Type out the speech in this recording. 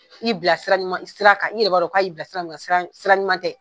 K'i bila sira ɲuman, sira kan i yɛrɛ b'a dɔn, k'a y'i bila sira min kan sira sira ɲuman tɛ.